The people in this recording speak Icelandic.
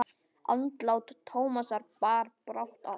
Andlát Tómasar bar brátt að.